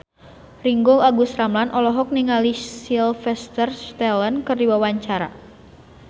Ringgo Agus Rahman olohok ningali Sylvester Stallone keur diwawancara